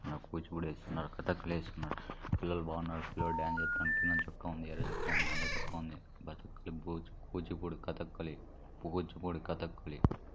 ఆ కూచిపూడి వేస్తున్నాడు. కథకళిస్తున్నాడు. పిల్లలు బాగున్నారు. పిల్లాడు డాన్స్ జేతండు. కింద చొక్కా ఉంది ఎర్ర చెక్క ఉంది నల్ల చొక్కా ఉంది. బచక్కలి బూచ్ కూచిపూడి కథకళి పుహుచ్పూడి కథకళి--